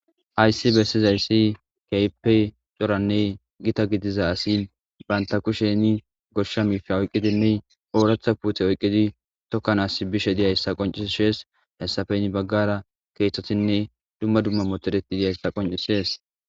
Hayssi bessizayssi keehippe coranne giitta gidiza asi bantta kushshenii gooshsha miishsha oyqidinne ooraththa puutte oyqiddi tookanas bizayssa qoncises hayssappe heeni baggara keththetinne dumma dumma motoreti yizayssa qonccises